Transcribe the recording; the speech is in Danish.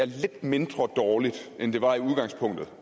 lidt mindre dårligt end det var et udgangspunkt